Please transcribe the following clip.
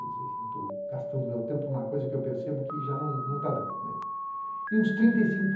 Quer dizer, estou gastando meu tempo em uma coisa que percebo que já não não está dando, né. E uns trinta cinco